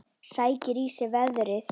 Sækir í sig veðrið.